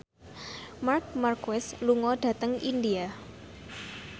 Marc Marquez lunga dhateng India